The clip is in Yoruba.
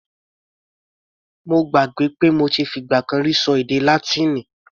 Mo gbàgbé pé mo ti fi ìgbà kan rí ṣọ èdè Látíìnì.